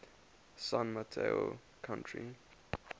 san mateo county